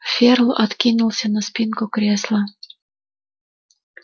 ферл откинулся на спинку кресла